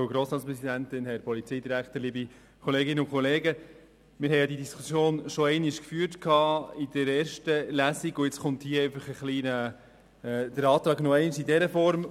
Wir haben diese Diskussion während der ersten Lesung schon geführt, und nun kommt der Antrag noch einmal einer anderen Form.